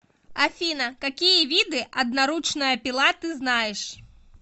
афина какие виды одноручная пила ты знаешь